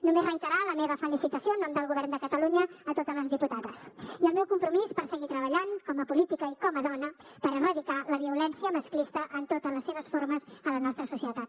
només reiterar la meva felicitació en nom del govern de catalunya a totes les diputades i el meu compromís per seguir treballant com a política i com a dona per erradicar la violència masclista en totes les seves formes a la nostra societat